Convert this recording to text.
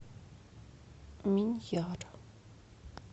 миньяр